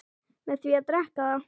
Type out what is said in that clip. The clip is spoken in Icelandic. með því að drekka það